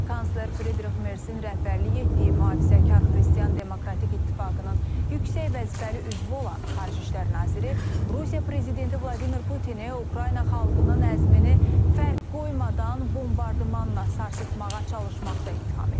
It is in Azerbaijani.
Kansler Fridrix Mersin rəhbərlik etdiyi mühafizəkar Xristian Demokratik İttifaqının yüksək vəzifəli üzvü olan Xarici İşlər Naziri Rusiya prezidenti Vladimir Putini Ukrayna xalqının əzmini fərq qoymadan bombardmanla sarsıtmağa çalışmaqda ittiham edib.